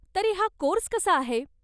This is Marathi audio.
तरी हा कोर्स कसा आहे?